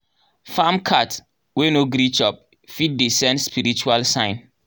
farm cat wey no gree chop fit dey send spiritual sign.